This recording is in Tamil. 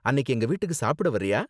அன்னிக்கு எங்க வீட்டுக்கு சாப்பிட வர்றியா?